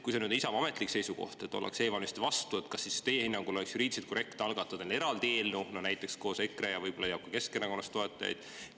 Kui see on Isamaa ametlik seisukoht, et ollakse e‑valimiste vastu, kas siis teie hinnangul ei oleks juriidiliselt korrektne, kui algataks näiteks koos EKRE‑ga eraldi eelnõu, mis võib-olla leiaks toetajaid ka Keskerakonnast?